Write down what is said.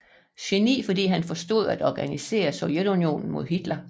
Geni fordi han forstod at organisere Sovjetunionen mod Hitler